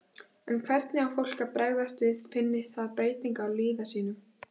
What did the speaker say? En hvernig á fólk að bregðast við finni það breytingar á líðan sinni?